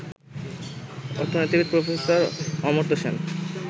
অর্থনীতিবিদ প্রফেসর অমর্ত সেন